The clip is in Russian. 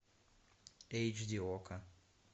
эйч ди окко